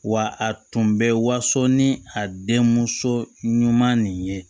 Wa a tun bɛ waso ni a denmuso ɲuman nin ye